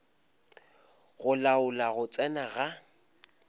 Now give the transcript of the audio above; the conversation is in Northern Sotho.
go laola go tsena ga